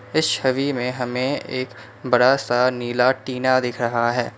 इस छवि में हम एक बड़ा सा नीला टीना दिख रहा है।